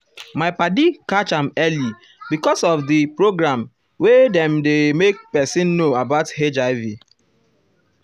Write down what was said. my padi catch padi catch am early because of d um program wey dem dey make pesin know about hiv.